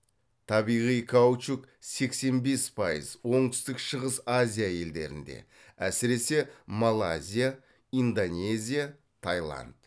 табиғи каучук сексен бес пайыз оңтүстік шығыс азия елдерінде әсіресе малайзия индонезия тайланд